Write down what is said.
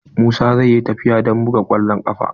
Musa zai yi tafiya don buga kwallon kafa.